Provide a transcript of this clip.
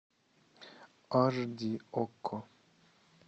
аш ди окко